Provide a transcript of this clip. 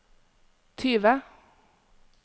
tyve